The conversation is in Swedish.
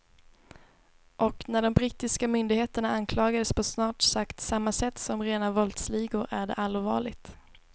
Och när de brittiska myndigheterna anklagas på snart sagt samma sätt som rena våldsligor är det allvarligt.